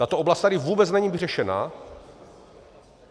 Tato oblast tady vůbec není vyřešena.